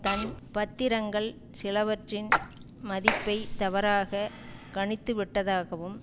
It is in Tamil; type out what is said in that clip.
தன் பத்திரங்கள் சிலவற்றின் மதிப்பை தவறாக கணித்து விட்டதாகவும்